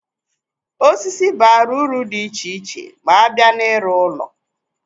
Osisi bara uru di iche iche ma abịa na-ịrụ ụlọ.